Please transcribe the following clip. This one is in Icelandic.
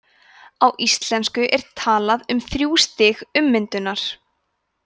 á íslensku er talað um þrjú stig „ummyndunar“